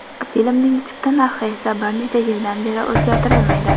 Filmning chipta narxi esa bir necha yildan beri o‘zgartirilmaydi.